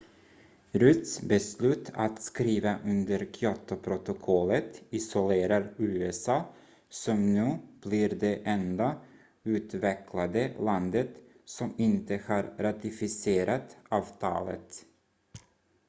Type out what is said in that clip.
rudds beslut att skriva under kyotoprotokollet isolerar usa som nu blir det enda utvecklade landet som inte har ratificerat avtalet